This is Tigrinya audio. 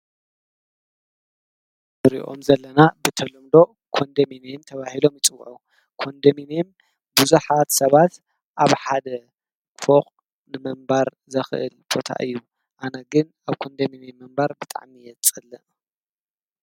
ንሪኦም ዘለና ህንፃ ኮንደሚኒየም ተባሂሉ ይፅዉዑ ።ኮንዶሚኒየም ብዙሓት ሰባት ኣብ ሓደ ፎቅ ንምንባር ዘክእል ቦታ እዪ። ነገር ግን ኣብ ኮንዶሚኒየም ምንባር ብጣዕሚ እየ ዝጸልእ ።